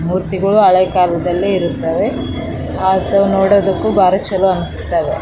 ಮೂರ್ತಿಗಳು ಹಳೇ ಕಾಲದಲ್ಲಿ ಇರುತ್ತವೆ ನೋಡೋದಕ್ಕೆ ಬಾರಿ ಚಲೋ ಅನ್ಸುತಾವೆ .